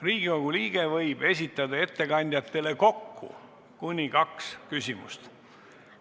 Riigikogu liige võib esitada ettekandjatele kokku kuni kaks küsimust.